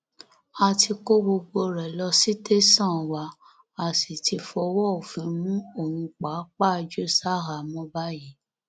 a ti kó gbogbo rẹ lọ sí tẹsán wa a sì ti fọwọ òfin mú òun pàápàá jù ṣahámọ báyìí